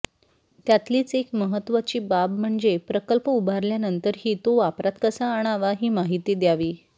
त्यातलीच एक महत्त्वाची बाब म्हणजे प्रकल्प उभारल्यानंतरही तो वापरात कसा आणावा ही माहिती द्यावी